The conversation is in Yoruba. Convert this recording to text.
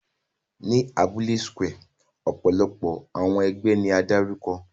Ni abule square, ọpọlọpọ awọn ẹgbẹ ni a darukọ.